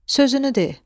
Sözünü de.